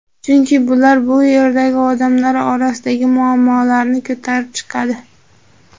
Chunki bular bu yerdagi odamlar orasidagi muammolarni ko‘tarib chiqadi.